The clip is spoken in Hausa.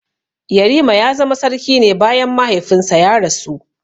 Yarima ya zama sarki ne bayan mahaifinsa ya rasu.